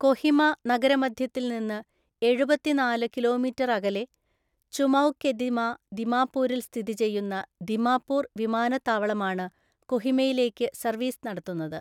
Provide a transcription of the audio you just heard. കൊഹിമ നഗരമധ്യത്തിൽ നിന്ന് എഴുപത്തിനാല് കിലോമീറ്റർ അകലെ ചുമൗകെദിമ ദിമാപൂരിൽ സ്ഥിതി ചെയ്യുന്ന ദിമാപൂർ വിമാനത്താവളമാണ് കൊഹിമയിലേക്ക് സർവീസ് നടത്തുന്നത്.